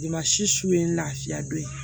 Ma si ye lafiya don ye